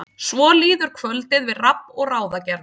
Svo líður kvöldið við rabb og ráðagerðir.